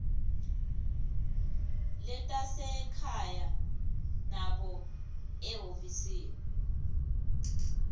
letasekhaya nobe ehhovisi